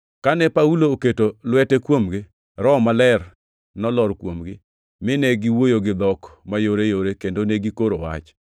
Kane Paulo oketo lwete kuomgi, Roho Maler nolor kuomgi, mine giwuoyo gi dhok mayoreyore kendo ne gikoro wach.